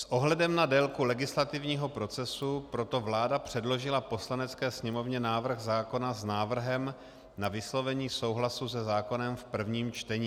S ohledem na délku legislativního procesu proto vláda předložila Poslanecké sněmovně návrh zákona s návrhem na vyslovení souhlasu se zákonem v prvním čtení.